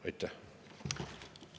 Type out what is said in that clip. Aitäh!